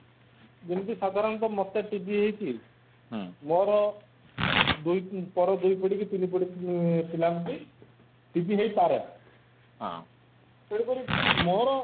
ଯେମିତି ସାଧାରଣତଃ ମତେ TB ହେଇଛି ମୋର TB ହେଇ ପାରେ ତେଣୁକରି ମୋର